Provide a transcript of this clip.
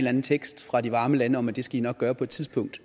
anden tekst fra de varme lande om at det skal de nok gøre på et tidspunkt